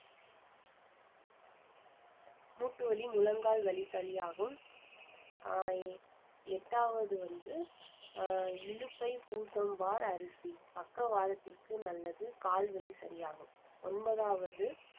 மூட்டு வலி முழங்கால் வலி சரியாகும் ஆஹ் எ~ எட்டாவது வந்து அஹ் இலுப்பை பூ சம்பா அரிசி பக்கவாதத்திற்கு நல்லது கால் வலி சரியாகும் ஒன்பதாவது